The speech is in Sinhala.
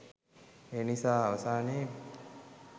එනිසා අවසානයේ